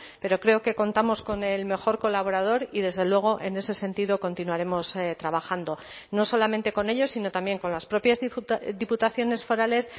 pero creo que contamos con el mejor colaborador y desde luego en ese sentido continuaremos trabajando no solamente con ellos sino también con las propias diputaciones forales